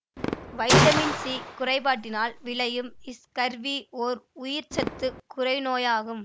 vitamin C குறைபாட்டினால் விளையும் scurvy ஓர் உயிர்ச்சத்துக் குறைநோயாகும்